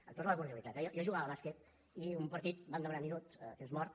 amb tota la cordialitat eh jo jugava a bàsquet i en un partit vam demanar minuts temps mort